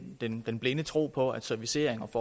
den den blinde tro på at servicering